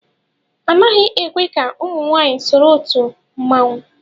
Anaghị ekwe ka ụmụ nwaanyị soro otu mmanwụ.